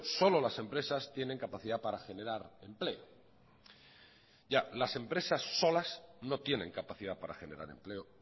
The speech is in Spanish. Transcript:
solo las empresas tienen capacidad para generar empleo ya las empresas solas no tienen capacidad para generar empleo